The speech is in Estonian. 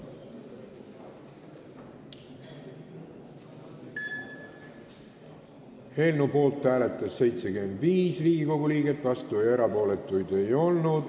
Hääletustulemused Eelnõu poolt hääletas 75 Riigikogu liiget, vastuolijaid ega erapooletuid ei olnud.